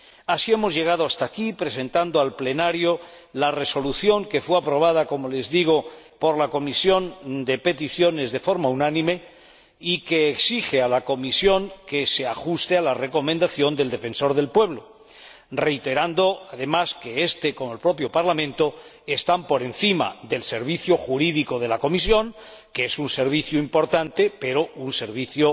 Así hemos llegado hasta aquí, presentando al Pleno la resolución que fue aprobada —como les digo— por la Comisión de Peticiones de forma unánime y que exige a la Comisión que se ajuste a la recomendación del Defensor del Pueblo, reiterando además que éste, junto con el propio Parlamento, están por encima del Servicio Jurídico de la Comisión, que es un servicio importante, pero un servicio